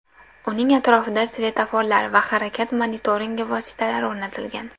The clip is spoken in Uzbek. Uning atrofida svetoforlar va harakat monitoringi vositalari o‘rnatilgan.